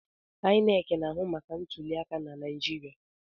INEC na-ahụ maka ntuliaka na Naịjirịa.